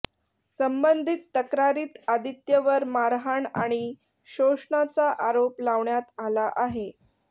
संबधित तक्रारीत आदित्यवर मारहाण आणि शोषणाचा आरोप लावण्यात आला आहे